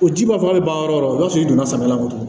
O ji ba fɔ a bɛ ban yɔrɔ o b'a sɔrɔ i donna samiya kɔnɔ tugun